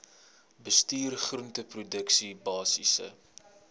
bestuur groenteproduksie basiese